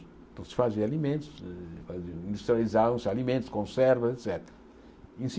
Então se fazia alimentos, industrializavam-se alimentos, conservas, et cétera.